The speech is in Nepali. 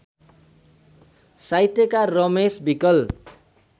साहित्यकार रमेश विकल